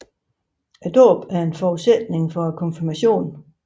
Dåben er en forudsætning for konfirmationen